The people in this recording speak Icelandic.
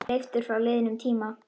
Leiftur frá liðnum tíma.